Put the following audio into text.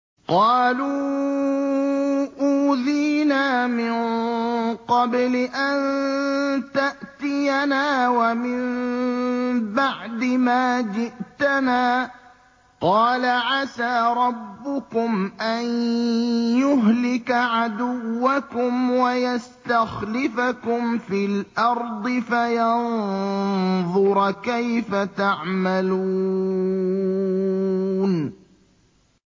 قَالُوا أُوذِينَا مِن قَبْلِ أَن تَأْتِيَنَا وَمِن بَعْدِ مَا جِئْتَنَا ۚ قَالَ عَسَىٰ رَبُّكُمْ أَن يُهْلِكَ عَدُوَّكُمْ وَيَسْتَخْلِفَكُمْ فِي الْأَرْضِ فَيَنظُرَ كَيْفَ تَعْمَلُونَ